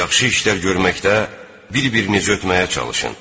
Yaxşı işlər görməkdə bir-birinizi ötməyə çalışın.